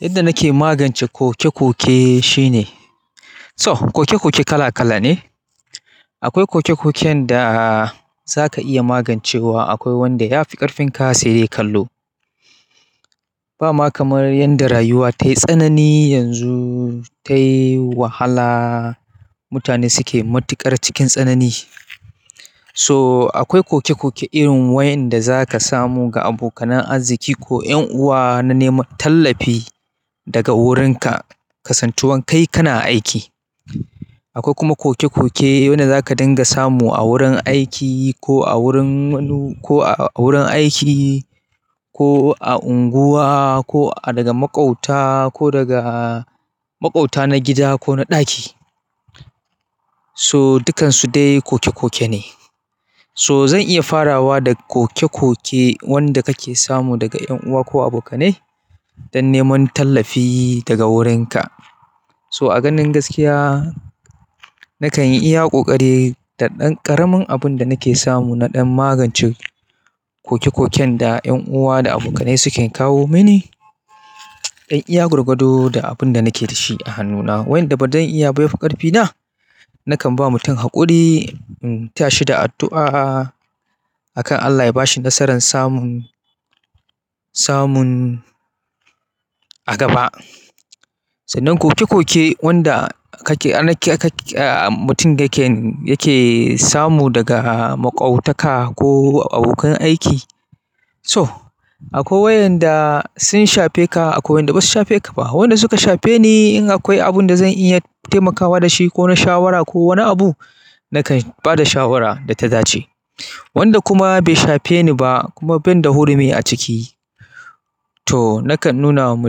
Yadda nake magance koke-koke shine, so koke-koke kala kala ne. Akwai koke-koken da za ka iya magancewa, akwai wanda ya fi ƙarfin ka sai dai kallo. Ba ma kamar yadda rayuwa tayi tsanani yanzu, tayi wahala, mutane suke matuƙar cikin tsanani. So akwai koke-koke irin waɗanda za ka samu ga abokanan arziki ko 'yan uwa na neman tallafi daga wurinka, kasantuwan kai kana aiki. Akwai kuma koke-koke wanda za ka dinga samu a wurin aiki ko a wurin, ko a wurin aiki ko a unguwa ko daga maƙwabta ko daga maƙwabta na gida ko na ɗaki. So dukansu dai koke-koke ne. So zan iya farawa da koke-koke wanda kake samu daga 'yan uwa ko abokanai don neman tallafi daga wurinka. So a ganin gaskiya nakan iya ƙoƙari da ƙaramin abun da nake samu na ɗan magance koke-koken da 'yan uwa da abokanai suke kawo mini. Dan iya gwargwado da abun da nake da shi a hannuna, wayanda bazan iya ba ya fi ƙarfina, nakan ba mutum haƙuri, in tayashi da addu'a akan Allah ya bashi nasarar samun, samun a gaba. Sannan koke-koke wanda kake, ana mutum yake, yake samu daga maƙwabtaka ko abokan aiki. To akwai wayanda sun shafe ka akwai wayanda basu shafe ka ba. Wanda suka shafe ni in akwai abinda zan iya taimakawa da shi ko na shawara ko wani abu nakan bada shawara da ta dace. Wanda kuma bai shafe ni ba kuma ban da hurumi a ciki, to nakan nuna wa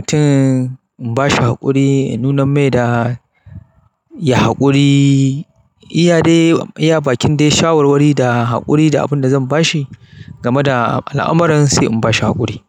mutum, in bashi haƙuri, in nuna mai da ya haƙuri. Iya dai, iya bakin dai shawarwari da haƙuri da abun da zan bashi game da al'amarin sai in bashi haƙuri.